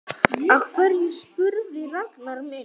Af hverju spyrðu, Ragnar minn?